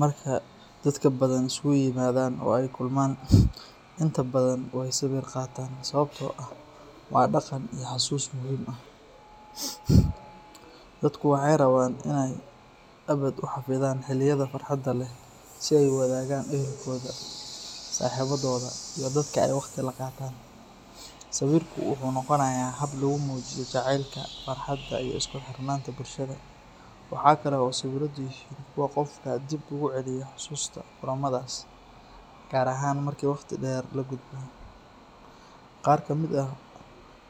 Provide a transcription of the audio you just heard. Marka dadka Badhan isugu yimaadaan oo ay kulmaan, inta badan way sawir qaataan sababtoo ah waa dhaqan iyo xasuus muhiim ah. Dadku waxay rabaan inay abad u xafidaan xilliyada farxadda leh ee ay wadaagaan ehelkooda, saaxiibadooda, iyo dadka ay waqti la qaataan. Sawirku wuxuu noqday hab lagu muujiyo jacaylka, farxadda, iyo isku xirnaanta bulshada. Waxaa kale oo sawiradu yihiin kuwo qofka dib ugu celiya xusuusta kulamadaas, gaar ahaan marka wakhti dheer la gudbo. Qaar ka mid ah